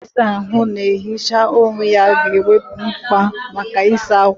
Igwe ịsa ahụ na-ehicha onwe ya ga-ewepụ mkpa maka ịsa ákwà.